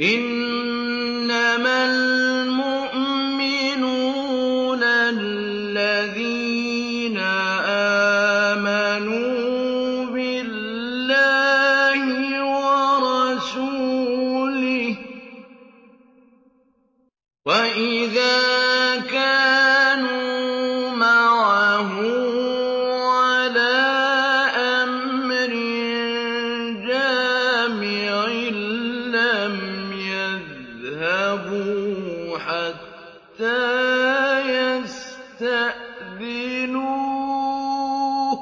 إِنَّمَا الْمُؤْمِنُونَ الَّذِينَ آمَنُوا بِاللَّهِ وَرَسُولِهِ وَإِذَا كَانُوا مَعَهُ عَلَىٰ أَمْرٍ جَامِعٍ لَّمْ يَذْهَبُوا حَتَّىٰ يَسْتَأْذِنُوهُ ۚ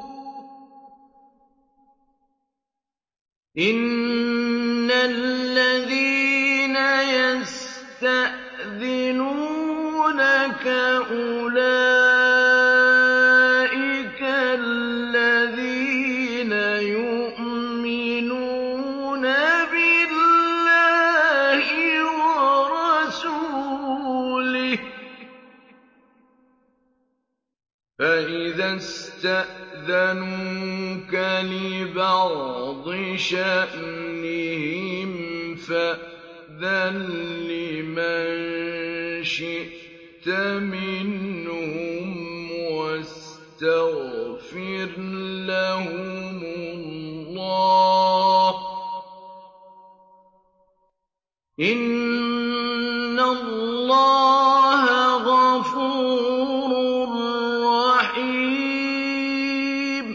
إِنَّ الَّذِينَ يَسْتَأْذِنُونَكَ أُولَٰئِكَ الَّذِينَ يُؤْمِنُونَ بِاللَّهِ وَرَسُولِهِ ۚ فَإِذَا اسْتَأْذَنُوكَ لِبَعْضِ شَأْنِهِمْ فَأْذَن لِّمَن شِئْتَ مِنْهُمْ وَاسْتَغْفِرْ لَهُمُ اللَّهَ ۚ إِنَّ اللَّهَ غَفُورٌ رَّحِيمٌ